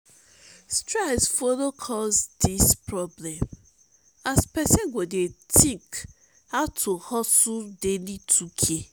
stress follow cause dis problem as pesin go dey tink ow to hustle daily 2k